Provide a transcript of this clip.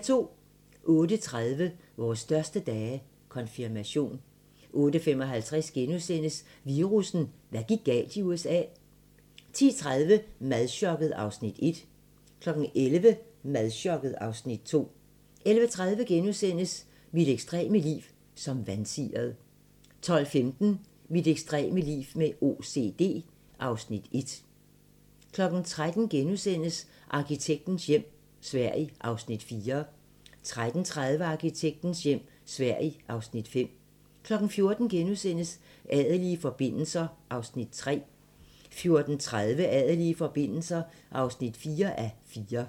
08:30: Vores største dage - Konfirmation 08:55: Virussen: Hvad gik galt i USA? * 10:30: Madchokket (Afs. 1) 11:00: Madchokket (Afs. 2) 11:30: Mit ekstreme liv som vansiret * 12:15: Mit ekstreme liv med OCD (Afs. 1) 13:00: Arkitektens hjem - Sverige (Afs. 4)* 13:30: Arkitektens hjem - Sverige (Afs. 5) 14:00: Adelige forbindelser (3:4)* 14:30: Adelige forbindelser (4:4)